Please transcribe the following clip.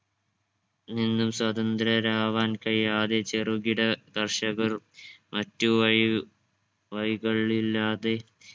നിന്നും സ്വാതന്ത്ര്യരാവാൻ കഴിയാതെ ചെറുകിട കർഷകർ മറ്റു വയ് വഴികളില്ലാതെ